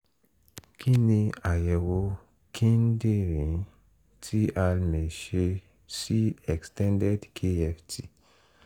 kí ni àyẹ̀wò kíndìnrín tí a mẹ̀ sí extended kft?